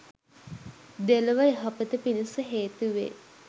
දෙලොව යහපත පිණිස හේතු වේ